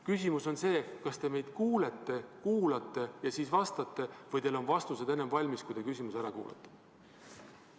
Küsimus on see: kas te meid kuulete, kuulate ja siis vastate või on teil vastused valmis enne, kui te küsimuse ära kuulate?